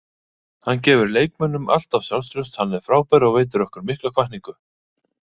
Hann gefur leikmönnum alltaf sjálfstraust, hann er frábær og veitir okkur mikla hvatningu.